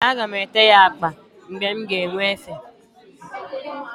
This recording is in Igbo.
Ee, aga m ete ya agba mgbe m ga-enwe efe.